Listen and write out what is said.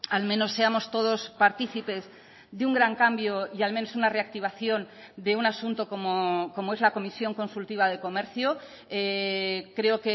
al menos seamos todos partícipes de un gran cambio y al menos una reactivación de un asunto como es la comisión consultiva de comercio creo